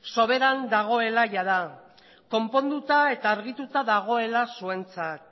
soberan dagoela jada konponduta eta argituta dagoela zuentzat